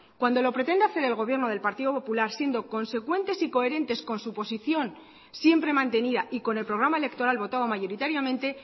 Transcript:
cuando lo pretende hacer el gobierno del partido popular siendo consecuentes y coherentes con su posición siempre mantenida y con el programa electoral votado mayoritariamente